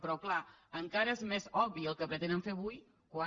però clar encara és més obvi el que pretenen fer avui quan